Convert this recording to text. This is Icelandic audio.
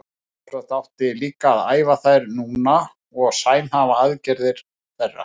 Sjálfsagt átti líka að æfa þær núna og samhæfa aðgerðir þeirra.